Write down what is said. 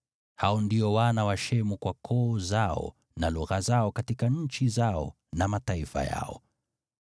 Hao ndio wana wa Shemu kwa koo zao na lugha zao, katika nchi zao na mataifa yao.